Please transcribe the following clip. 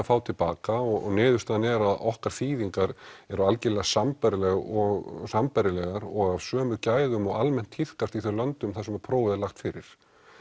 fá til baka og niðurstaðan er að okkar þýðingar eru algjörlega sambærilegar og sambærilegar og af sömu gæðum og almennt tíðkast í þeim löndum þar sem prófið er lagt fyrir